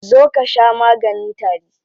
Zo ka sha maganin tari.